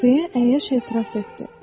deyə əyyaş etiraf etdi.